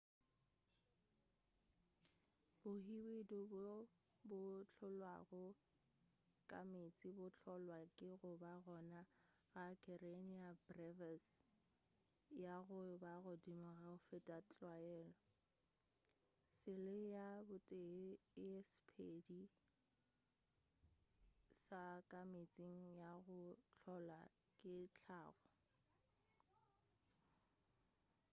bohwididu bjo bo hlolwago ka meetseng bo hlolwa ke goba gona ga karenia brevis ya go ba godimo go feta tlwaelo sele ya botee ya sephedi sa ka meetse ya go hlola ke hlago